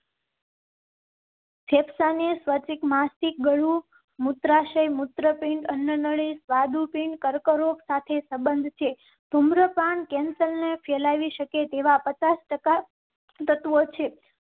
ફેફસા ને સ્વચ્છ માસિક ગળું મૂત્રાશય મૂત્રપિંડ અન્નનળી સ્વાદુપિંડ કરો. સાથે સંબંધ છે. ધુમ્રપાન cancer ને ફેલાવી શકે તેવા પચાસ ટકા તત્વો છે.